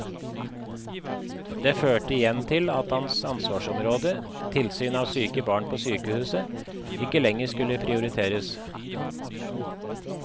Det førte igjen til at hans ansvarsområde, tilsyn av syke barn på sykehuset, ikke lenger skulle prioriteres.